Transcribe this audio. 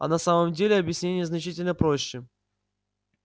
а на самом деле объяснение значительно проще